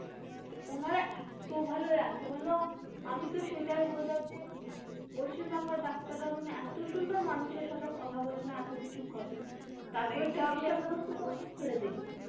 ওনারা এতো ভালো এতো ভালো আমি তো সেটাই বলতাম যে মানে পশ্চিম বাংলার ডাক্তাররা মানে এতো সুন্দর মানুষের সাথে কথা বলে না এতো কিছু করে না তারপরে চিকিৎসা ব্যবস্থা তো আপনি ছেড়ে দিন.